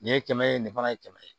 Nin ye kɛmɛ ye nin fana ye kɛmɛ ye